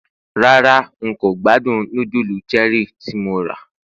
rara n ko gbádùn nudulu Cherie tí mo ra